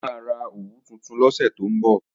Mo máa ra òwú tuntun lọ́sẹ̀ tó ń bọ̀